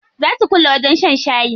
Zaa su kulle wajen shan shayi.